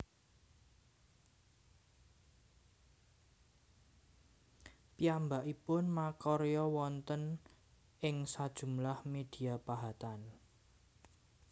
Piyambakipun makarya wonten ing sajumlah media pahatan